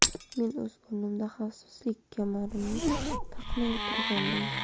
Men o‘z o‘rnimda xavfsizlik kamarini taqmay o‘tirgandim.